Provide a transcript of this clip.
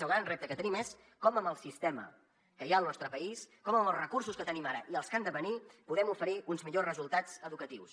el gran repte que tenim és com amb el sistema que hi ha al nostre país com amb els recursos que tenim ara i els que han de venir podem oferir uns millors resultats educatius